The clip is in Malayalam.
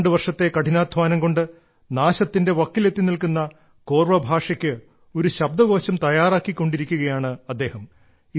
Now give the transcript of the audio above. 12 വർഷത്തെ കഠിനാദ്ധ്വാനം കൊണ്ട് നാശത്തിന്റെ വക്കിലെത്തി നിൽക്കുന്ന കോർവ ഭാഷയ്ക്ക് ഒരു ശബ്ദകോശം തയ്യാറാക്കിയിരിക്കുകയാണ് അദ്ദേഹം